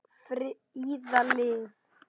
Fríða Liv.